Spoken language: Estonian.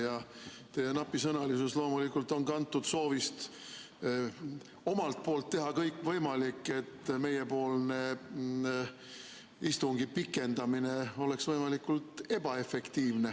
Ja teie napisõnalisus on loomulikult kantud soovist teha omalt poolt kõik võimalik, et meiepoolne istungi pikendamine oleks võimalikult ebaefektiivne.